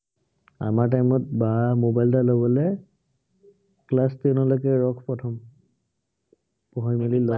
আমাৰ time ত বাহ mobile এটা লবলে class ten লৈকে ৰহ প্ৰথম। পঢ়ি মেলি ল